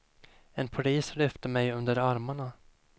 En polis lyfte mig under armarna.